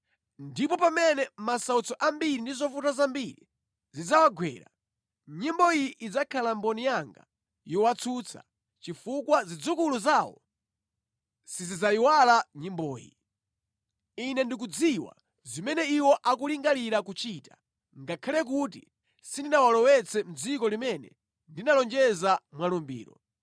Ndipo pamene masautso ambiri ndi zovuta zambiri zidzawagwera, nyimbo iyi idzakhala mboni yanga yowatsutsa, chifukwa zidzukulu zawo sizidzayiwala nyimboyi. Ine ndikudziwa zimene iwo akulingalira kuchita, ngakhale kuti sindinawalowetse mʼdziko limene ndinalonjeza mwa lumbiro.”